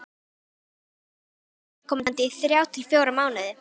Tala kannski ekki við viðkomandi í þrjá til fjóra mánuði.